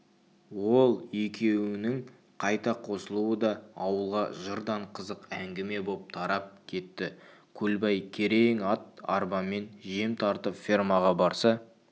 ол екеуінің қайта қосылуы да ауылға жырдан қызық әңгіме боп тарап кетті көлбай керең ат-арбамен жем тартып фермаға барса